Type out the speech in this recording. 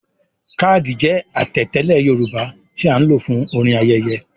“Kádí” jẹ́ àtẹ̀tẹ́lẹ̀ Yorùbá tí a ń lò fún orin ayẹyẹ.